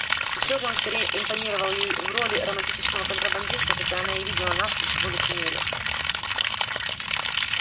и все же он скорее импонировал ей в роли романтического контрабандиста хотя она и видела насквозь его лицемерие